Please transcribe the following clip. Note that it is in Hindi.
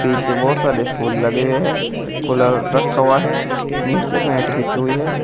पीछे बहुत सारे फूल लगे हुए हैं कूलर रखा हुआ है नीचे मैट बिछी हुई है।